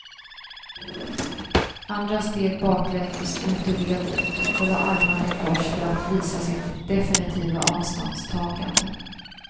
Andra steg baklänges ut ur ledet och la armarna i kors för att visa sitt definitiva avståndstagande.